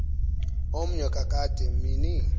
omnye kakade mini